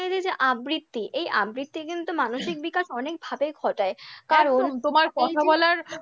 হচ্ছে যে আবৃত্তি, এই আবৃত্তি কিন্তু মানসিক বিকাশ অনেকভাবে ঘটায়, কারণ তোমার কথা বলার